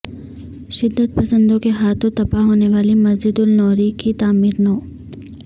شدت پسندوں کے ہاتھوں تباہ ہونے والی مسجد النوری کی تعمیر نو